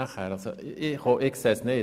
Ich verstehe es nicht.